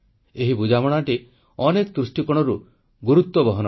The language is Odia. ଏହି ବୁଝାମଣାଟି ଅନେକ ଦୃଷ୍ଟିକୋଣରୁ ଗୁରୁତ୍ୱ ବହନ କରେ